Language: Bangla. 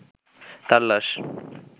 তাঁর লাশ